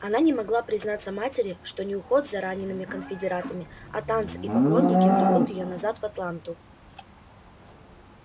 она не могла признаться матери что не уход за ранеными конфедератами а танцы и поклонники влекут её назад в атланту